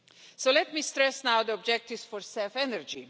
So let me stress now the objectives for CEF energy.